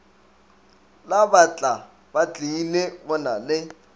la batlabatlile go na le